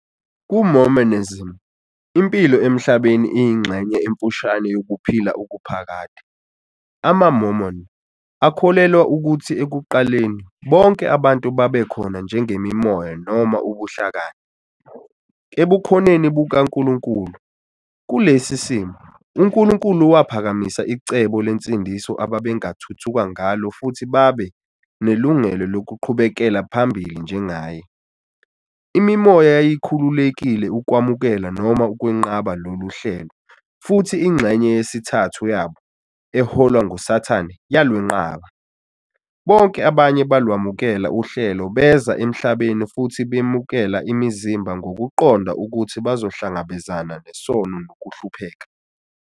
KuMormonism, impilo emhlabeni iyingxenye emfushane yokuphila okuphakade. AmaMormon akholelwa ukuthi ekuqaleni, bonke abantu babekhona njengemimoya noma "ubuhlakani," ebukhoneni bukaNkulunkulu. Kulesi simo, uNkulunkulu waphakamisa icebo lensindiso ababengathuthuka ngalo futhi babe "nelungelo lokuqhubekela phambili njengaye."Imimoya yayikhululekile ukwamukela noma ukwenqaba lolu hlelo, futhi "ingxenye yesithathu" yabo, eholwa nguSathane yalwenqaba. Bonke abanye balwamukela uhlelo, beza emhlabeni futhi bemukela imizimba ngokuqonda ukuthi bazohlangabezana nesono nokuhlupheka.